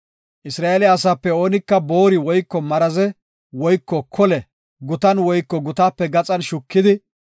Isra7eele asaape oonika boori woyko maraze woyko kole gutan woyko gutaape gaxan shukidi,